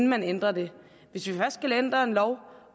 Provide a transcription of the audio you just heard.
man ændrer det hvis vi først skal ændre en lov